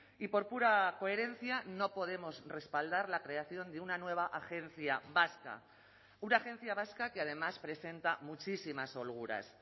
y por pura coherencia no podemos respaldar la creación de una nueva agencia vasca una agencia vasca que además presenta muchísimas holguras